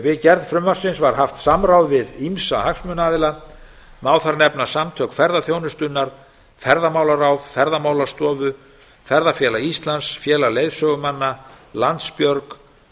við gerð frumvarpsins var haft samráð við ýmsa hagsmunaaðila má þar nefna samtök ferðaþjónustunnar ferðamálaráð ferðamálastofu ferðafélag íslands félag leiðsögumanna landsbjörg